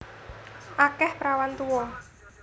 Akeh prawan tuwa